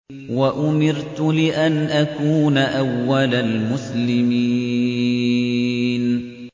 وَأُمِرْتُ لِأَنْ أَكُونَ أَوَّلَ الْمُسْلِمِينَ